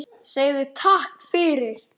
Segðu takk fyrir.